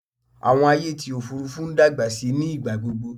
Àwọn ayé ti òfurufú ń dàgbà síi ní ìgbàgbogbo